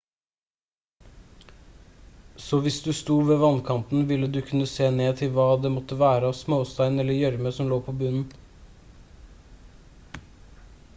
så hvis du sto ved vannkanten ville du kunne se ned til hva det måttevære av småstein eller gjørme som lå på bunnen